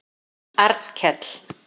Arnkell